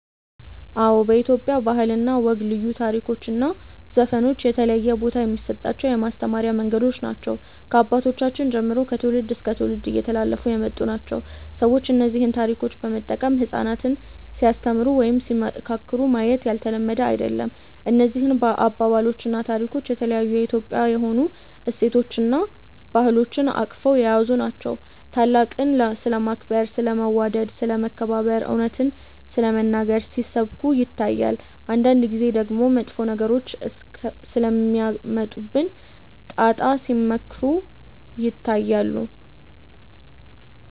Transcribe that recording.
አዎ በኢትዮጵያ ባህል እና ወግ ልዩ ታሪኮች እና ዘፈኖች የተለየ ቦታ የሚሰጣቸው የማስተማሪያ መንገዶች ናቸው። ከአባቶቻችን ጀምሮ ከትውልድ እስከ ትውልድ እየተላለፉ የመጡ ናቸው። ሰዎች እነዚህን ታሪኮች በመጠቀም ህጻናትን ሲያስተምሩ ወይም ሲመካከሩ ማየት ያልተለመደ አይደለም። እነዚህ አባባሎች እና ታሪኮች የተለያዩ የኢትዮጵያዊ የሆኑ እሴቶችን እና ባህሎችን አቅፈው የያዙ ናቸው። ታላቅን ስለማክበር፣ ስለ መዋደድ፣ ስለ መከባበር፣ እውነትን ስለመናገር ሲሰብኩ ይታያል። አንዳንድ ጊዜ ደግሞ መጥፎ ነገሮች ስለሚያመጡብን ጣጣ ሲመክሩ ይታያሉ።